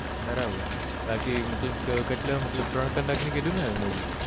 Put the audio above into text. બરાબર છે બાકી મતલબ કેટલા ત્રણ કલાક ની કીધી ને movie